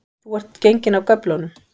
Þú ert genginn af göflunum